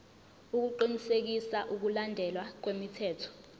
ukuqinisekisa ukulandelwa kwemithetho